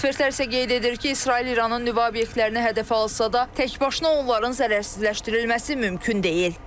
Ekspertlər isə qeyd edir ki, İsrail İranın nüvə obyektlərini hədəf alsa da, təkbaşına onların zərərsizləşdirilməsi mümkün deyil.